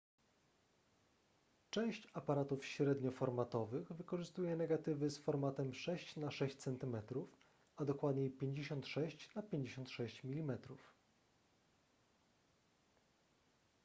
część aparatów średnioformatowych wykorzystuje negatywy z formatem 6 na 6 cm a dokładniej 56 na 56 mm